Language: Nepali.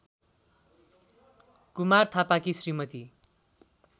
कुमार थापाकी श्रीमती